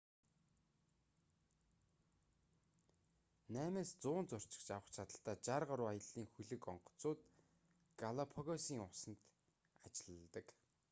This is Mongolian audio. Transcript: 8-100 зорчигч авах чадалтай 60 гаруй аяллын хөлөг онгоцууд галапагосын усанд ажилладаг